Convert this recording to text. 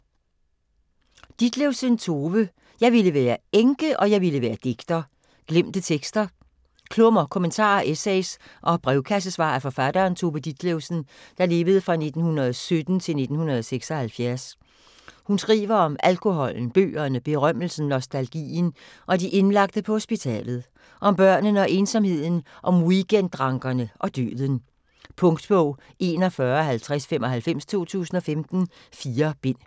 Ditlevsen, Tove: Jeg ville være enke, og jeg ville være digter: glemte tekster Klummer, kommentarer, essays og brevkassesvar af forfatteren Tove Ditlevsen (1917-1976). Hun skriver om alkoholen, bøgerne, berømmelsen, nostalgien og de indlagte på hospitalet. Om børnene og ensomheden, om weekend-drankerne og døden. Punktbog 415095 2015. 4 bind.